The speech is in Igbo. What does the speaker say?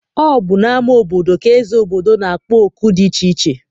Ọ bụ n'ama obodo ka eze obodo na-akpọ oku dị iche iche.